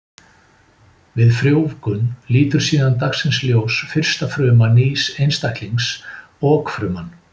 Við frjóvgun lítur síðan dagsins ljós fyrsta fruma nýs einstaklings, okfruman.